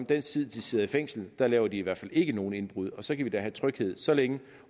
den tid de sidder i fængsel laver de i hvert fald ikke nogen indbrud og så kan vi da have tryghed så længe